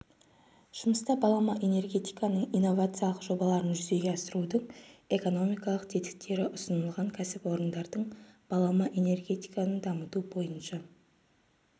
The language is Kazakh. жұмыста балама энергетиканың инновациялық жобаларын жүзеге асырудың экономикалық тетіктері ұсынылған кәсіпорындардың балама энергетиканы дамыту бойынша